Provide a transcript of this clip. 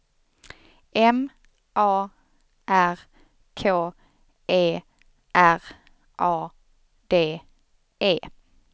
M A R K E R A D E